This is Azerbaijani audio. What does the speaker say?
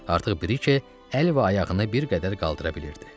Artıq Brike əl və ayağını bir qədər qaldıra bilirdi.